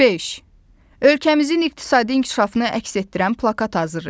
Beş: Ölkəmizin iqtisadi inkişafını əks etdirən plakat hazırlayın.